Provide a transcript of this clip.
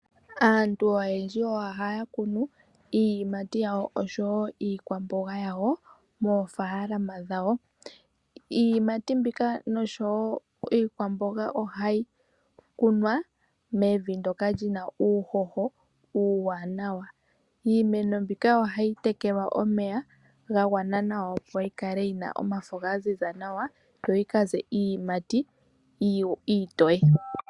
Aantu oyendji ohaya kunu iiyimati yawo niikwamboga yawo moofalama dhawo. Iiyimati mbika niikwamboga ohayi kunwa mevi ndyoka lina uuhoho uuwanawa. Iimeno mbika ohayi tekelwa omeya ga gwana nawa opo yi kale yina omafo ga ziza nawa yo yikaze iiyimati iitiye.